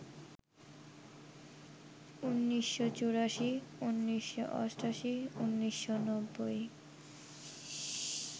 ১৯৮৪, ১৯৮৮, ১৯৯০